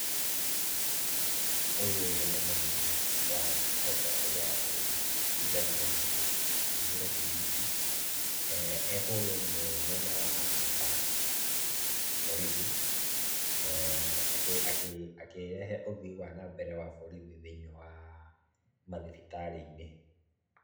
Ũyũ nĩ mũnini wa mũtongoria wa bũrũri His Excellency Kithure Kindiki, ekũrĩa ũguo mwena wa Barracks, borithi , akĩrehe ũthii wa nambere wa borithi thĩiniĩ wa mathibitarĩ inĩ.